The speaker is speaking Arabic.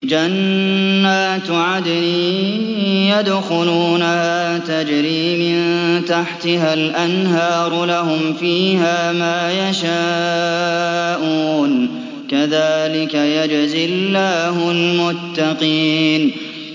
جَنَّاتُ عَدْنٍ يَدْخُلُونَهَا تَجْرِي مِن تَحْتِهَا الْأَنْهَارُ ۖ لَهُمْ فِيهَا مَا يَشَاءُونَ ۚ كَذَٰلِكَ يَجْزِي اللَّهُ الْمُتَّقِينَ